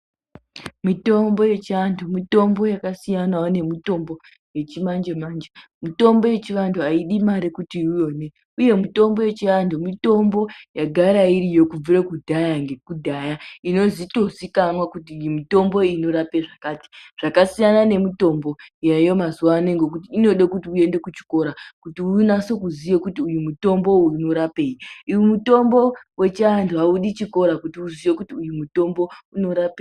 Mitombo yechi antu mitombo yaka siyanawo ne mutombo yechi manje manje mitombo yechi vantu ayidi mari kuti uyi one uye mutombo yechi antu mitombo yagara iriyo kubvire kudhaya ngeku dhaya inoto ziikanwa kuti iyi mitombo iyi inorape zvakati zvaka siyana ne mitombo yaayo mazuva ano ngekuti inode kuti uyende ku chikora kuti unase kuziya kuti uyu mutombo uyu unorapei uyu mutombo wechi antu awudi chikora kuti uziye kuti uyu mutombo unorapei.